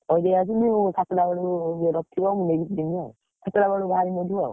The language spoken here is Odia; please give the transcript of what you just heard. ଦେଇଆସି ମୁଁ ସାତୁଟା ବେଳକୁ ଇଏ ରଖିଥିବ ମୁଁ ନେଇକି ଯିବି ଆଉ। ସାତେଟା ବେଳକୁ ବାହାରିବି ଏଠୁ ଆଉ।